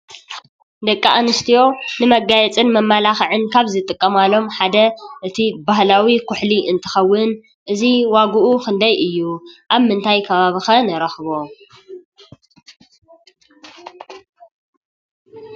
ደቂ ኣንስትዮ ንመጋየፅን መመላክዕን ካብ ዝጥቃማሎም ሓደ እቲ ባህላዊ ኩሕሊ እንትኸውን እዚ ዋግኡ ክንደይ እዩ? ኣብ ምንታይ ከባቢ ከ ንረኽቦ?